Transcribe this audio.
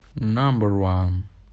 намбер ван